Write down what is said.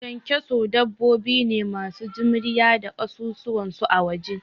Ƙyanƙyaso dabbobi ne masu jimriya da kasusuwan su a waje